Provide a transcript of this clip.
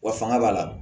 Wa fanga b'a la